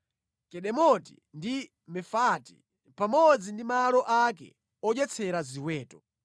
Kedemoti ndi Mefaati, pamodzi ndi malo ake odyetsera ziweto;